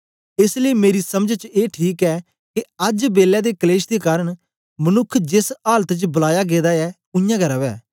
एस लेई मेरी समझ च ए ठीक ऐ के अज्ज बेलै दे कलेश दे कारन मनुक्ख जेस आलत च बलाया गेदा ऐ उयांगै रवै